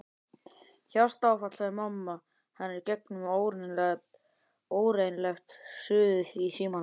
Hjartaáfall sagði mamma hennar í gegnum ógreinilegt suðið í símanum.